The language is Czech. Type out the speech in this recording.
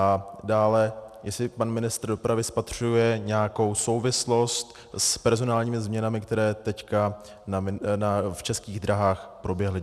A dále, jestli pan ministr dopravy spatřuje nějakou souvislost s personálními změnami, které teď v Českých dráhách proběhly.